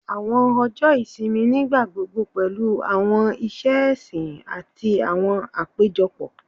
Awọn ọjọ isimi nigbagbogbo pẹlu awọn iṣẹ ẹsin ati awọn apejọpọ